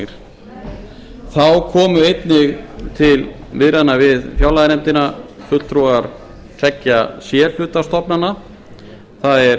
orkurannsóknir þá komu einnig til viðræðna við fjárlaganefndina fulltrúar tveggja c hluta stofnana það er